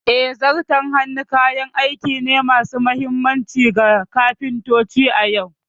Eh, Zarton hannu kayan aiki ne masu mahimmanci ga kafintoci a yau.